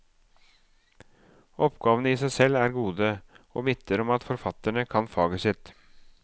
Oppgavene i seg selv er gode, og vitner om at forfatterne kan faget sitt.